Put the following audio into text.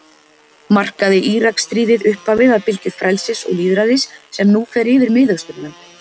Markaði Íraksstríðið upphafið að bylgju frelsis og lýðræðis sem nú fer yfir Miðausturlönd?